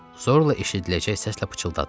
Zorla eşidiləcək səslə pıçıldadı.